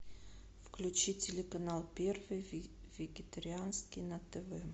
включи телеканал первый вегетарианский на тв